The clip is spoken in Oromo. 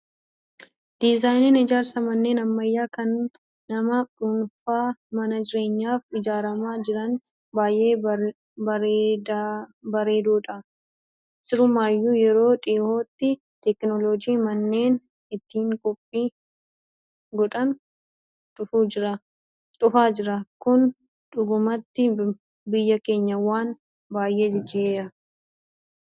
Diizaayiniin ijaarsa manneen ammayyaa kan nama dhuunfaa mana jireenyaaf ijaaramaa jiranii baay'ee bareedoodha. Sirumayyuu yeroo dhiyootti teekinooloojiin manneen ittiin 'koppii 'godhan dhufaa jira. Kun dhugumatti biyya keenya waan baay'ee jijjiira.